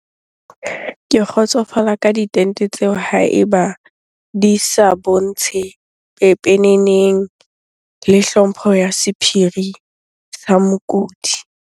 Ke kgotsofala ka ditente tseo ha eba di sa bontshe pepeneneng. Le hlompho ya sephiri sa mokudi.